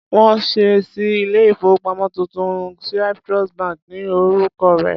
Wọ́n ṣẹ̀ ṣí ilé-ìfowópamọ́ tuntun, Cyprus bank ni orúkọ rẹ̀.